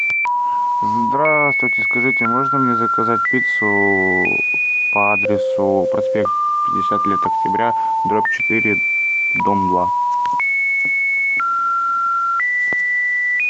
здравствуйте скажите можно мне заказать пиццу по адресу проспект пятьдесят лет октября дробь четыре дом два